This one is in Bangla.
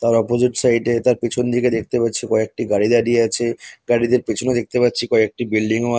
তার অপজিট সাইড -এ তার পেছনদিকে দেখতে পাচ্ছি একটি গাড়ি দাঁড়িয়ে আছে। গাড়িদের পেছনে দেখতে পাচ্ছি কয়েকটি বিল্ডিং ও আ।